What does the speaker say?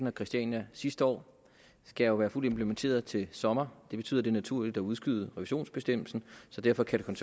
og christiania sidste år skal jo være fuldt implementeret til sommer det betyder det naturligt at udskyde revisionsbestemmelsen så derfor kan